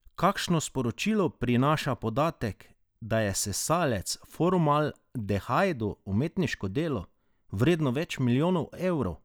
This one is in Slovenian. Kakšno sporočilo prinaša podatek, da je sesalec v formaldehidu umetniško delo, vredno več milijonov evrov?